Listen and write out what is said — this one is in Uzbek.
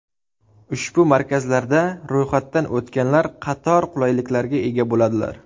Ushbu markazlarda ro‘yxatdan o‘tganlar qator qulayliklarga ega bo‘ladilar.